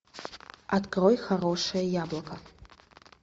открой хорошее яблоко